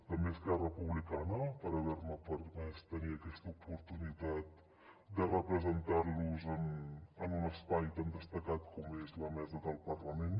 també a esquerra republicana per haver me permès tenir aquesta oportunitat de representar los en un espai tan destacat com és la mesa del parlament